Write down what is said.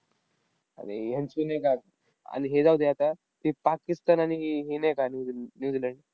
अरे ह्यांची नाही का, आन हे जाऊदे आता. ते पाकिस्तान आणि हे हे नाही काय न्यू न्यूझीलंड,